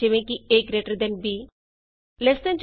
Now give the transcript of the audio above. alt b greater than eਜੀ